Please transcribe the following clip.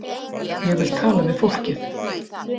Ég vil tala við fólkið.